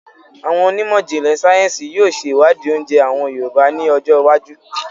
Àwọn onímọ̀jìnlẹ̀ sayẹ́nsi yìí ó ṣe iwadi oúnjẹ àwọn Yorùbá ni ọjọ́ iwájú